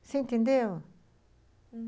Você entendeu?